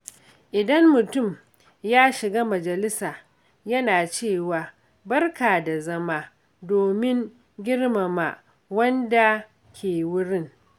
Idan mutum ya shiga majalisa, yana cewa, "Barka da zama," domin girmama wadanda ke wurin.